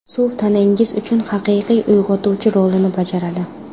Suv tanangiz uchun haqiqiy uyg‘otuvchi rolini bajaradi.